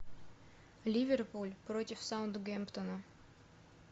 ливерпуль против саутгемптона